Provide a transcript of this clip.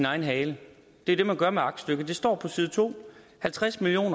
egen hale det er det man gør med aktstykket der står på side to at halvtreds million